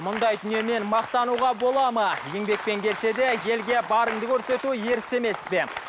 мұндай дүниемен мақтануға болады ма еңбекпен келсе де елге барыңды көрсету ерсі емес пе